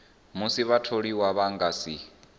musi vhatholiwa vha nga si